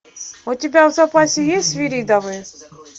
у тебя в запасе есть свиридовы